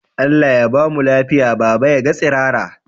Allah Ya bamu lafiya baba yaga tsirara?